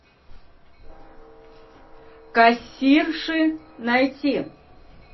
кассирши найти